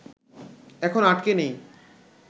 এখন আটকে নেই